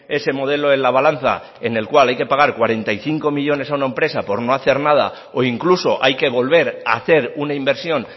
ese modelo en la balanza en el cual hay que pagar cuarenta y cinco millónes a una empresa por no hacer nada o incluso hay que volver a hacer una inversión